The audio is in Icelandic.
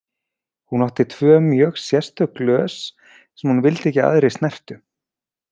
Hún átti tvö mjög sérstök glös sem hún vildi ekki að aðrir snertu.